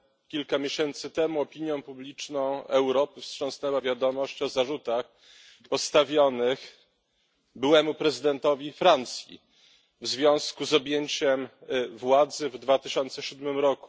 Kilka miesięcy temu opinią publiczną Europy wstrząsnęła wiadomość o zarzutach postawionych byłemu prezydentowi Francji w związku z objęciem władzy w 2007 r.